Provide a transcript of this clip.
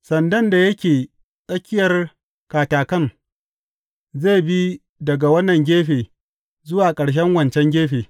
Sandan da yake tsakiyar katakan, zai bi daga wannan gefe zuwa ƙarshen wancan gefe.